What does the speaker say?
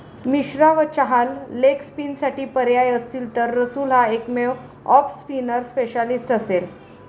मिश्रा व चहाल लेगस्पिनसाठी पर्याय असतील तर रसूल हा एकमेव ऑफस्पिनर स्पेशालिस्ट असेल.